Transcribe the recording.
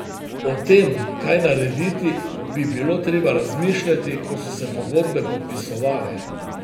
O tem, kaj narediti, bi bilo treba razmišljati, ko so se pogodbe podpisovale.